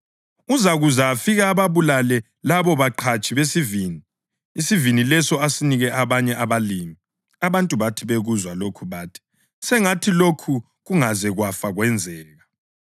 Uzakuza afike ababulale labo baqhatshi besivini, isivini leso asinike abanye abalimi.” Abantu bathi bekuzwa lokhu bathi, “Sengathi lokhu kungaze kwafa kwenzeka!”